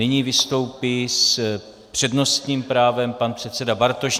Nyní vystoupí s přednostním právem pan předseda Bartoš.